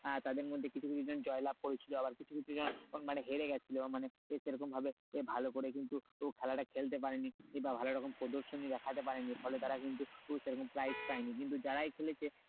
আহ তাদের মধ্যে কিছু কিছু জন জয়লাভ করে ছিল আবার কিছু কিছু মানে হেরে গিয়েছিলো মানে সে সে রকম ভাবে ভালো করে কিন্তু খেলাটা খেলতে পারেনি কিংবা ভালো রকম প্রদর্শনী দেখাতে পারেনি ফলে তারা কিন্তু সে রকম prize পায়নি কিন্তু যারাই খেলেছে